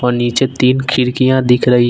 नीचे तीन खिड़कियां दिख रही--